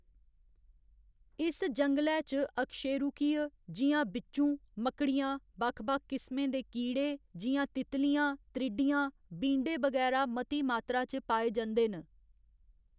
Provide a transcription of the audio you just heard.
इस जंगलै च अकशेरूकीय जि'यां बिच्चूं, मक्कड़ियां, बक्ख बक्ख किस्में दे कीड़े जि'यां तितलियां, त्रिड़्डियां, बींडे बगैरा मती मात्तरा च पाए जंदे न।